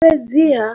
Fhedziha,